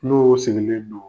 Tlo o segelen do